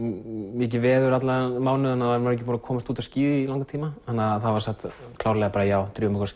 mikið veður allan þennan mánuð og maður ekki búinn að komast út á skíði í langan tíma þannig að það var sagt klárlega já drífum okkur